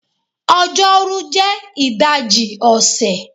Ọjọ́rú jẹ́ ìdajì ọ̀sẹ̀